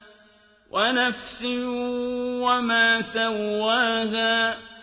وَنَفْسٍ وَمَا سَوَّاهَا